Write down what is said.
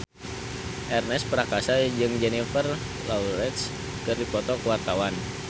Ernest Prakasa jeung Jennifer Lawrence keur dipoto ku wartawan